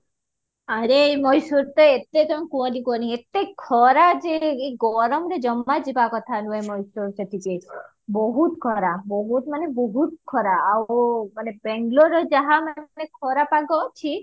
ଆରେ ଏଇ ମଏଶ୍ଵର ତ ଏତେ କୁହନି କୁହନି ଏତେ ଖରା ଯେ ଏ ଗରମରେ ଜମା ଜୀବ କଥା ନୁହେ ମଏଶ୍ଵର ସେଠିକି ବୋହୁତ ଖରା ବୋହୁତ ମାନେ ବୋହୁତ ଖରା ଆଉ bangloreରେ ଯାହା ମାନେ ଖରା ପାଗ ଅଛି